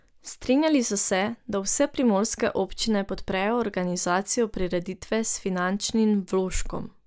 Strinjali so se, da vse primorske občine podprejo organizacijo prireditve s finančnim vložkom.